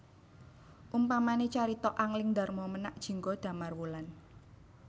Umpamane carita Angling Darma Menak Jingga Damarwulan